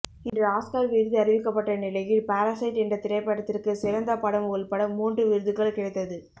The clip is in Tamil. இன்று ஆஸ்கார் விருது அறிவிக்கப்பட்ட நிலையில் பாரசைட் என்ற திரைப்படத்திற்கு சிறந்த படம் உள்பட மூன்று விருதுகள் கிடைத்தது